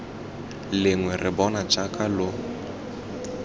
lengwe re bona jaaka lo